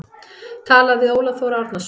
Talað við Óla Þór Árnason.